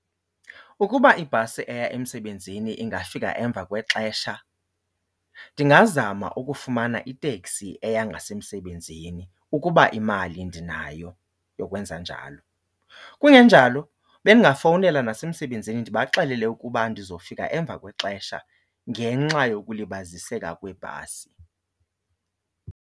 Ukuba ibhasi eya emsebenzini ingafika emva kwexesha ndingazama ukufumana iteksi eya ngasemsebenzini ukuba imali ndinayo yokwenza njalo. Kungenjalo bendingafowunela nasemsebenzini ndibaxelele ukuba ndizofika emva kwexesha ngenxa yokulibaziseka kwebhasi.